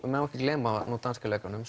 má ekki gleyma danska leikaranum